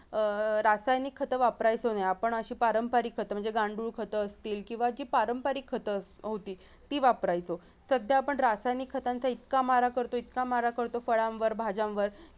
अह रासायनिक खत वापरायचं नाही आपण अशी पारंपरिक खत म्हणजे गांडूळ खत असतील किंवा जी पारंपरिक खत होती असतील ती वापरायची सध्या आपण रासायनिक खतांचा इतका मारा करतोय इतका मारा करतोय फळांवर भाज्यांवर